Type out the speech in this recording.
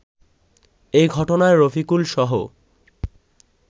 এ ঘটনায় রফিকুলসহ